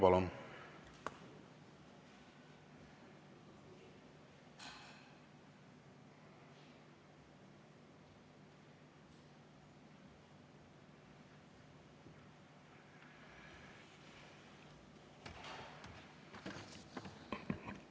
Palun!